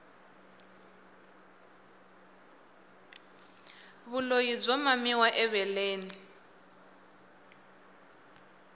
vulyi byo mamiwa eveleni